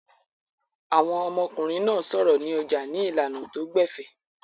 Àwọn ọmọkùnrin náà sọ̀rọ̀ ní ọjà ní ìlànà tó gbẹ̀fẹ̀.